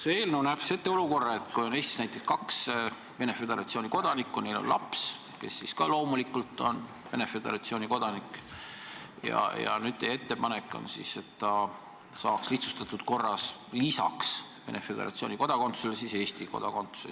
See eelnõu näeb ette olukorra, et kui Eestis on näiteks kaks Venemaa Föderatsiooni kodanikku ja neil on laps, kes on loomulikult samuti Venemaa Föderatsiooni kodanik, siis vastavalt teie ettepanekule saaks ta lihtsustatud korras lisaks Venemaa Föderatsiooni kodakondsusele ka Eesti kodakondsuse.